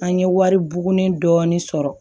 An ye wari bugunin dɔɔnin sɔrɔ